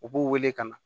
U b'u wele ka na